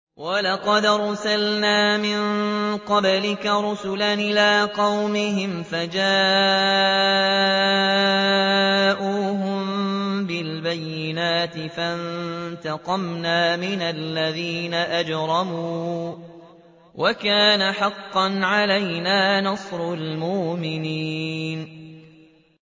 وَلَقَدْ أَرْسَلْنَا مِن قَبْلِكَ رُسُلًا إِلَىٰ قَوْمِهِمْ فَجَاءُوهُم بِالْبَيِّنَاتِ فَانتَقَمْنَا مِنَ الَّذِينَ أَجْرَمُوا ۖ وَكَانَ حَقًّا عَلَيْنَا نَصْرُ الْمُؤْمِنِينَ